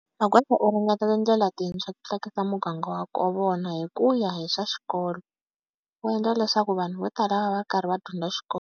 Magwaza u ringeta tindlela tintshwa ku tlakusa muganga wa ka vona hi ku hi swa xikolo. U endla leswaku vanhu vo tala va va va ri karhi va dyondza xikolo.